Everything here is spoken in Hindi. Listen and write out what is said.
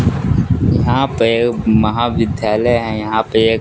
यहां पे एक महाविद्यालय है यहां पे एक।